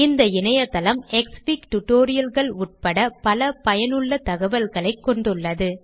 இந்த இணையதளம் க்ஸ்ஃபிக் tutorialகள் உட்பட பல பயனுள்ள தகவல்களைக் கொண்டுள்ளது